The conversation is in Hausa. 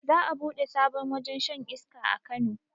Za a buɗe sabon wajen shan iska a kano